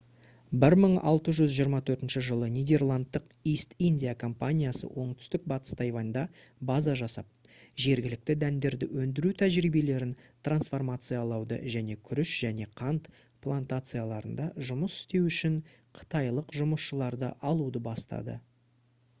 1624 жылы нидерландтық east india компаниясы оңтүстік батыс тайваньда база жасап жергілікті дәндерді өндіру тәжірибелерін трансформациялауды және күріш және қант плантацияларында жұмыс істеу үшін қытайлық жұмысшыларды алуды бастады